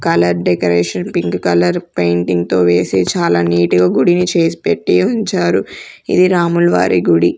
Colour decoration pink colour painting తో వేసి చాలా నీట్ గా గుడిని చేసిపెట్టి ఉంచారు ఇది రాములవారి గుడి.